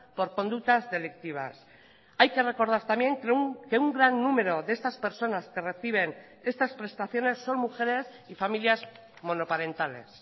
por conductas delictivas hay que recordar también que un gran número de estas personas que reciben estas prestaciones son mujeres y familias monoparentales